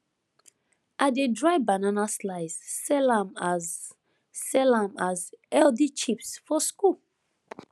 i dey dry banana slice sell am as sell am as healthy chips for school